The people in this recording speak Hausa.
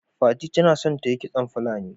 fati ta na son ta Yi kitson Fulani.